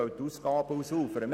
– Weil die Ausgaben ausufern.